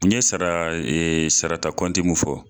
N ye sara sarata kɔnti mun fɔ.